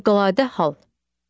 Fövqəladə hal.